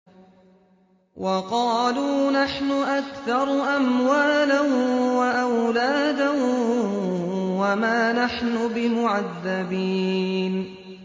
وَقَالُوا نَحْنُ أَكْثَرُ أَمْوَالًا وَأَوْلَادًا وَمَا نَحْنُ بِمُعَذَّبِينَ